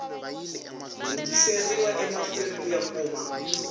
hundziseriwa emahlweni ku ya kuma